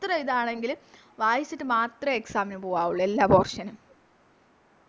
എത്ര ഇതാണെങ്കിലും വായിച്ചിട്ട് മാത്രമേ Exam പോകാവുള്ളു എല്ലാ Portion നും